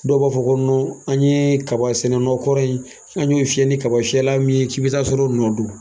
Dɔw b'a fɔ ko an ɲe kaba sɛnɛ nɔ kɔrɔ in an ɲ'o fiyɛ ni kaba fiyɛla min ye, k'i bi taa sɔrɔ o nɔ don.